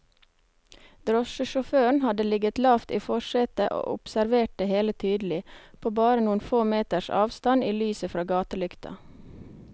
Drosjesjåføren hadde ligget lavt i forsetet og observert det hele tydelig, på bare noen få meters avstand i lyset fra gatelykta.